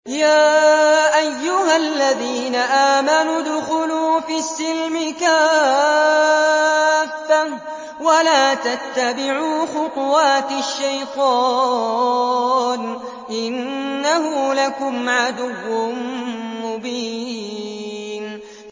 يَا أَيُّهَا الَّذِينَ آمَنُوا ادْخُلُوا فِي السِّلْمِ كَافَّةً وَلَا تَتَّبِعُوا خُطُوَاتِ الشَّيْطَانِ ۚ إِنَّهُ لَكُمْ عَدُوٌّ مُّبِينٌ